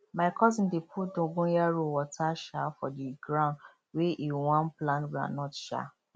my cousin dey pu dongoyaro water um for the the ground wey e wan plant groundnut um